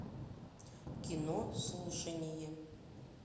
кино слушание